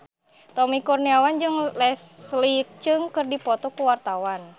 Tommy Kurniawan jeung Leslie Cheung keur dipoto ku wartawan